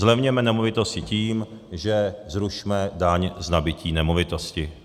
Zlevněme nemovitosti tím, že zrušme daň z nabytí nemovitosti.